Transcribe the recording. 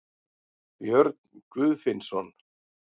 Björn Guðfinnsson.